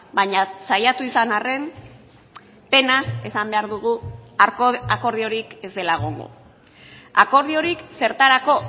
baina saiatu izan arren penaz esan behar dugu akordiorik ez dela egongo akordiorik zertarako